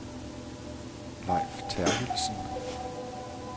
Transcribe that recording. Lejf Terkildsen